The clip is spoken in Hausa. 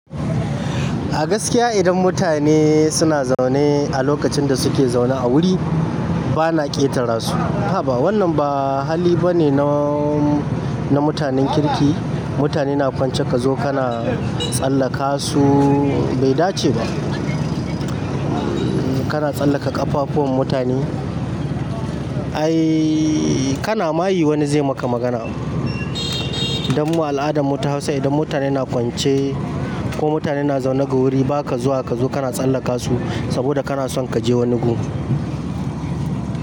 A gaskiya idan mutane suna zaune a lokacin da suke zaune a wuri, bana ƙetara su. Haba wannan ba hali bane na, na mutanen kirki. Mutane na kwance kazo kana tsallaka suu bai dace ba. Kana tsallaka ƙafafuwan mutane. Ai ka na mayi wani zai maka magana. Dan mu al'adan mu ta hausa idan mutane na kwance ko mutane na zaune ga wuri baka zuwa kazo kana tsallaka su saboda kana son kaje wani gurin.